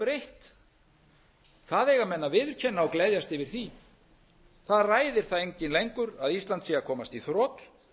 gjörbreytt það eiga menn að viðurkenna og gleðjast yfir því það ræðir það enginn lengur að ísland sé að komast í þrot við erum